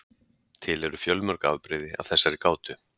til eru fjölmörg afbrigði af þessari gátu